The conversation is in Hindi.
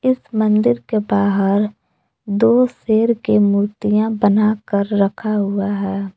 इस मंदिर के बाहर दो शेर के मूर्तियां बनाकर रखा हुआ है।